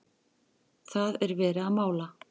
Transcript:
það er verið að mála.